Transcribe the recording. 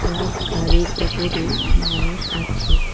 আর গাড়ির উপরে মানুষ আছে।